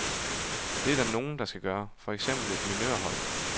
Det er der nogen, der skal gøre, for eksempel et minørhold.